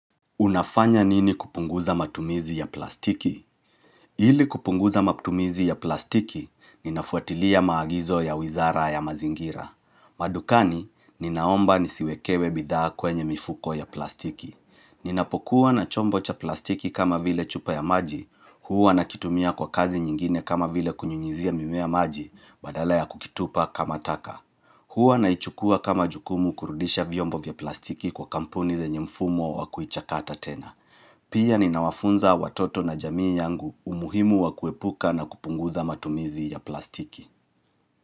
Unafanya nini kupunguza matumizi ya plastiki? Ili kupunguza matumizi ya plastiki, ninafuatilia maagizo ya wizara ya mazingira. Madukani, ninaomba nisiwekewe bidhaa kwenye mifuko ya plastiki. Ninapokuwa na chombo cha plastiki kama vile chupa ya maji, huu anakitumia kwa kazi nyingine kama vile kunyunyizia mimea maji, badala ya kukitupa kama taka. Hua naichukua kama jukumu kurudisha vyombo vya plastiki kwa kampuni zenye mfumo wa kuhichakata tena. Pia ni nawafunza watoto na jamii yangu umuhimu wa kuepuka na kupunguza matumizi ya plastiki.